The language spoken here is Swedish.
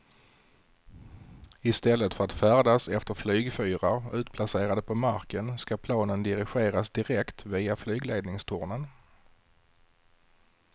I stället för att färdas efter flygfyrar utplacerade på marken ska planen dirigeras direkt via flygledningstornen.